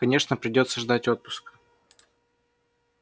конечно придётся ждать отпуска